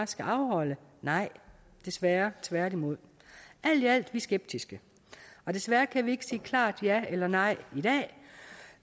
skal afholde nej desværre tværtimod alt i alt er vi skeptiske og desværre kan vi ikke sige klart ja eller nej i dag